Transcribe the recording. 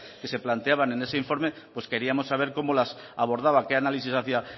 que se planteaban en ese informe pues queríamos saber cómo las abordaba qué análisis hacía